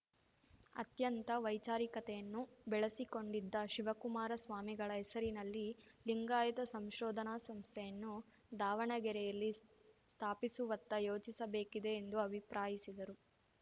ಅತ್ಯಂತ ವೈಚಾರಿಕತೆಯನ್ನು ಬೆಳಸಿಕೊಂಡಿದ್ದ ಶಿವಕುಮಾರ ಸ್ವಾಮಿಗಳ ಹೆಸರಿನಲ್ಲಿ ಲಿಂಗಾಯತ ಸಂಶೋಧನಾ ಸಂಸ್ಥೆಯನ್ನು ದಾವಣಗೆರೆಯಲ್ಲಿ ಸ್ಥಾಪಿಸುವತ್ತ ಯೋಚಿಸಬೇಕಿದೆ ಎಂದು ಅಭಿಪ್ರಾಯಿಸಿದರು